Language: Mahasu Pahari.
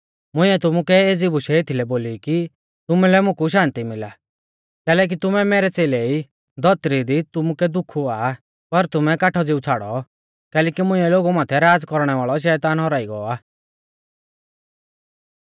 मुंइऐ तुमुकै एज़ी बुशै एथलै बोली कि तुमुलै मुकु शान्ति मिला कैलैकि तुमै मैरै च़ेलै ई धौतरी दी तुमुकै दुःख हुआ पर तुमै काठौ ज़िऊ छ़ाड़ौ कैलैकि मुंइऐ लोगु माथै राज़ कौरणै वाल़ौ शैतान हौराई गौ आ